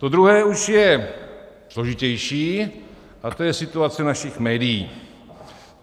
To druhé už je složitější a to je situace našich médií.